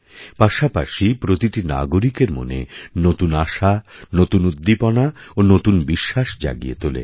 পাশাপাশি প্রতিটি নাগরিকের মনে নতুনআশা নতুন উদ্দীপনা ও নতুন বিশ্বাস জাগিয়ে তোলে